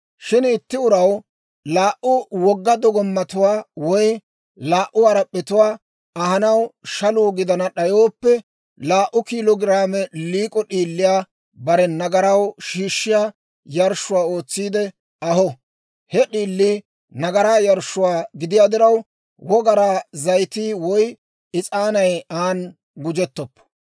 « ‹Shin itti uraw laa"u wogga dogomattuwaa woy laa"u harap'p'etuwaa ahanaw shaluu gidana d'ayooppe, laa"u kiilo giraame liik'o d'iiliyaa bare nagaraw shiishshiyaa yarshshuwaa ootsiide aho. He d'iilii nagaraa yarshshuwaa gidiyaa diraw, wogaraa zayitii woy is'aanay aan gujettoppo.